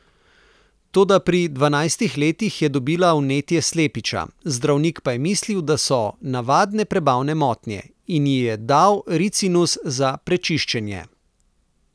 Toda pri dvanajstih letih je dobila vnetje slepiča, zdravnik pa je mislil, da so navadne prebavne motnje, in ji je dal ricinus za prečiščenje.